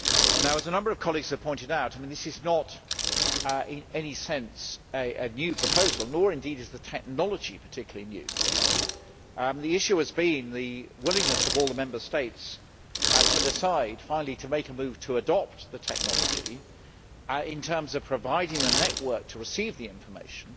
Now, as a number of colleagues have pointed out, this is not in any sense a new proposal, nor indeed is the technology particularly new. The issue has been the willingness of all the Member States to decide finally to make a move to adopt the technology, in terms of providing the network to receive the information,